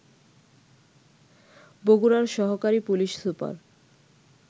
বগুড়ার সহকারি police super